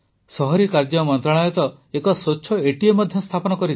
ସହରୀ କାର୍ଯ୍ୟ ମନ୍ତ୍ରଣାଳୟ ତ ଏକ ସ୍ୱଚ୍ଛ ଏଟିଏମ୍ ମଧ୍ୟ ସ୍ଥାପନ କରିଛି